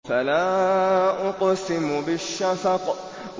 فَلَا أُقْسِمُ بِالشَّفَقِ